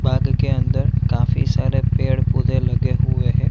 बाग के अंदर काफ़ी सारे पेड़-पौधे लगे हुए है।